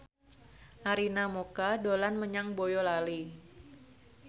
Arina Mocca dolan menyang Boyolali